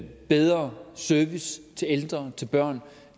bedre service til ældre til børn